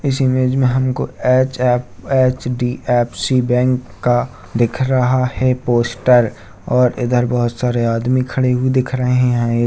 इस इमेज में हमको एच ऍफ़ ऐच.डी.ऍफ़.सी. बैंक का दिख रहा है पोस्टर और इधर बहुत सारे आदमी खड़े हुए दिख रहे है ये।